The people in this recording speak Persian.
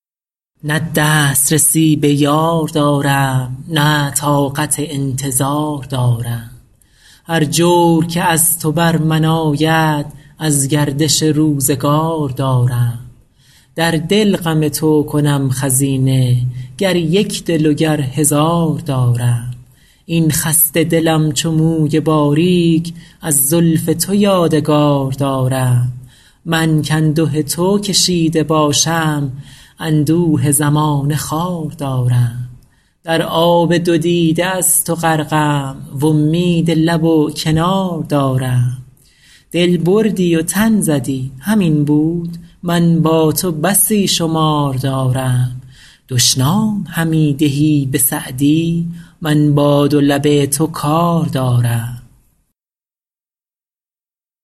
نه دست رسی به یار دارم نه طاقت انتظار دارم هر جور که از تو بر من آید از گردش روزگار دارم در دل غم تو کنم خزینه گر یک دل و گر هزار دارم این خسته دلم چو موی باریک از زلف تو یادگار دارم من کانده تو کشیده باشم اندوه زمانه خوار دارم در آب دو دیده از تو غرقم وامید لب و کنار دارم دل بردی و تن زدی همین بود من با تو بسی شمار دارم دشنام همی دهی به سعدی من با دو لب تو کار دارم